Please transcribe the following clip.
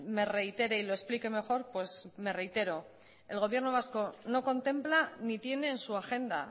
me reitere y lo explique mejor pues me reitero el gobierno vasco no contempla ni tiene en su agenda